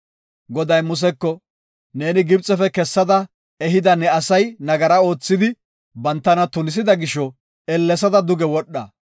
Goday Museko, “Neeni Gibxefe kessada, ehida ne asay nagara oothidi, bantana tunisida gisho ellesada duge wodha.